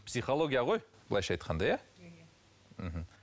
психология ғой былайша айтқанда иә мхм